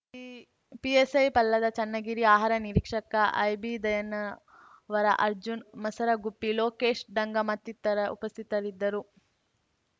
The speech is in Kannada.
ಪಿ ಪಿಎಸೈ ಪ್ರಲ್ಹಾದ ಚನ್ನಗಿರಿ ಆಹಾರ ನಿರೀಕ್ಷಕ ಐಬಿದಯನ್ನವರ ಅರ್ಜುನ್ ಮಸರಗುಪ್ಪಿ ಲೊಕೇಶ ಡಂಗ ಮತ್ತಿತರ ಉಪಸ್ಥಿತರಿದ್ದರು